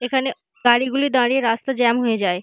এখানে গাড়ি গুলি দাঁড়িয়ে রাস্তা জ্যাম হয়ে যায়।